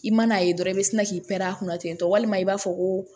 I man'a ye dɔrɔn i bɛ sina k'i pɛrɛn ten tɔ walima i b'a fɔ ko